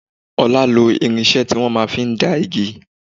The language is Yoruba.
Ọlá lo irinṣẹ́ ti wọn máa ń fi dán igi.